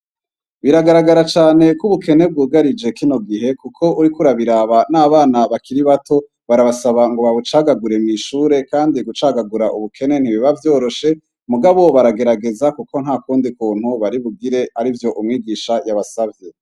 Biragaragara cane ko ubukene bwugarije kino gihe, kuko uri kurabiraba n'abana bakiri bato barabasaba ngo babucagagure mw'ishure, kandi gucagagura ubukene ntibiba vyoroshe mugabow baragerageza, kuko nta kundi kuntu baribugire ari vyo umwigisha yabasavye.